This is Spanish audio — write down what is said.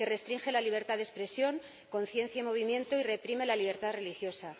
que restringe la libertad de expresión, conciencia y movimiento y reprime la libertad religiosa.